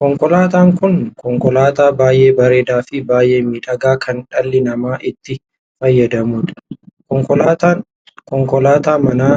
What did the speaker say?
Konkolaataan kun konkolaataa baay'ee bareedaa fi baay'ee miidhagaa kan dhalli namaa itti fayyadamuudha. konkolaataan konkolaataa manaa